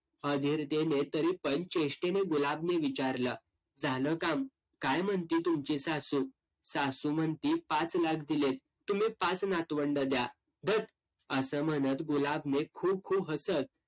हा धीर देणे तरीपण चेष्टेने गुलाबने विचारलं, झालं काम? काय म्हणते तुमची सासू? सासू म्हणती, पाच लाख दिलेत. तुम्ही पाच नातवंड द्या. धत असं म्हणत गुलाबने हसत